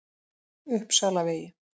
Uppsalavegi